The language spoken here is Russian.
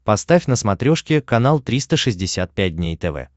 поставь на смотрешке канал триста шестьдесят пять дней тв